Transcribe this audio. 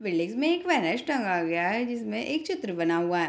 Buildings में एक banners टंगा गया है जिसमे एक चित्र बना हुआ है।